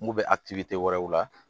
N kun bɛ a kilitigɛ wɛrɛw la